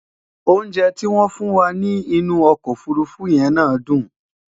oúnjẹ ti wón fún wà nì inú ọkọ òfurufú yé ná dùn